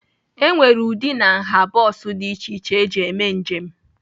E nwere ụdị na nha bọs dị iche iche eji eme njem.